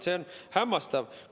See on hämmastav.